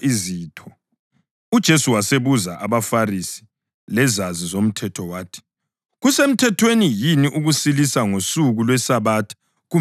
UJesu wasebuza abaFarisi lezazi zomthetho wathi, “Kusemthethweni yini ukusilisa ngosuku lweSabatha kumbe hatshi?”